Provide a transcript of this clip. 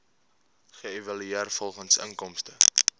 geëvalueer volgens inkomste